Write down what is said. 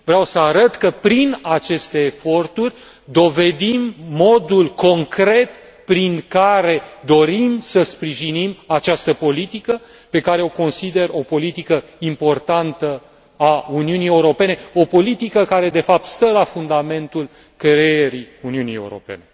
Vreau să arăt că prin aceste eforturi dovedim modul concret prin care dorim să sprijinim această politică pe care o consider o politică importantă a Uniunii Europene, o politică care, de fapt, stă la fundamentul creării Uniunii Europene.